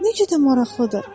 Nə qədər maraqlıdır.